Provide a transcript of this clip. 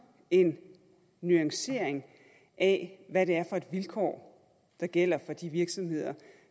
en nuancering af hvad det er for vilkår der gælder for de virksomheder